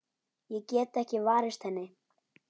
Ég get ekki varist henni.